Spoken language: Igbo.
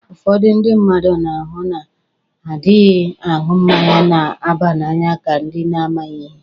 Ụfọdụ ndị mmadụ na-ahụ ndị na-adịghị aṅụ mmanya na-aba n'anya ka ndị na-amaghi ihe.